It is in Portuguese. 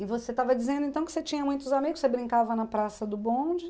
E você estava dizendo então que você tinha muitos amigos, você brincava na praça do bonde.